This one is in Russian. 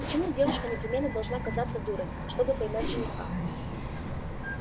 почему девушка непременно должна казаться дурой чтобы поймать жениха